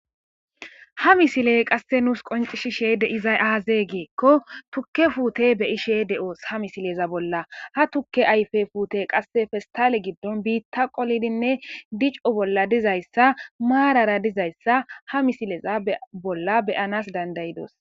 Ha misiley qasse nuus qoncishishe de izay aazee geekko tukke fuute be ishe de'oos ha misileza bolla ha tukke ayfe puute qasse festale giddon biitta qoldinne dico bolla dizayssa maarara dizayssa ha misileza bolla beyanas dandayidos.